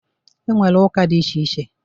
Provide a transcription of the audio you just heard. E nwere ụka dị iche iche.